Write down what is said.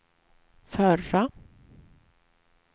förra